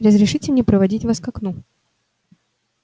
разрешите мне проводить вас к окну